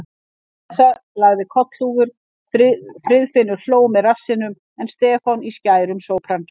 Elsa lagði kollhúfur, Friðfinnur hló með rassinum en Stefán í skærum sópran.